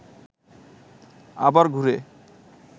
আবার ঘুরে